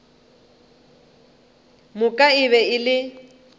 moka e be e le